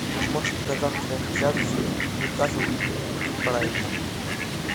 можешь показать трансляцию ньюкасл и брайтон